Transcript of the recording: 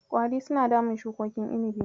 Ƙwari suna damun shukokin inibi.